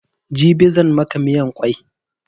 Jibi zan maka miyan kwai